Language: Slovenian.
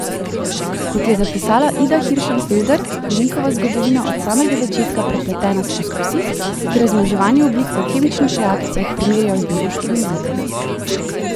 Kot je zapisala Ida Hiršenfelder, je njihova zgodovina od samega začetka prepletena s poskusi, ki razmnoževanja oblik v kemičnih reakcijah primerjajo z biološkimi oblikami.